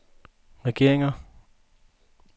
regeringer